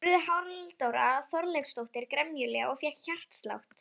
spurði Halldóra Þorleifsdóttir gremjulega og fékk hjartslátt.